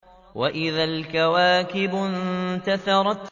وَإِذَا الْكَوَاكِبُ انتَثَرَتْ